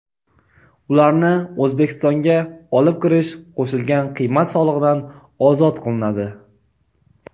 ularni O‘zbekistonga olib kirish qo‘shilgan qiymat solig‘idan ozod qilinadi.